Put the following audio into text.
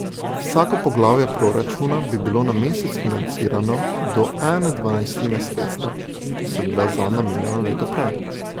Vsako poglavje proračuna bi bilo na mesec financirano do ene dvanajstine sredstev, ki so bila zanj namenjena leto prej.